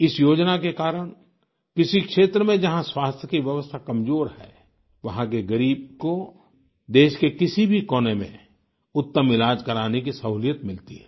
इस योजना के कारण किसी क्षेत्र में जहाँ स्वास्थ्य की व्यवस्था कमजोर है वहाँ के गरीब को देश के किसी भी कोने में उत्तम इलाज कराने की सहूलियत मिलती हैं